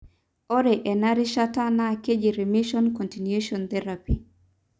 ore ena rishata na kejii remission continuation therapy.